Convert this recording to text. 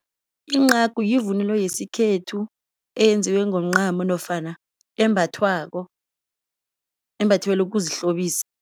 Incagu yivunulo yesikhethu eyenziwe ngomncamo nofana embathwako embathelwa ukuzihlobisa.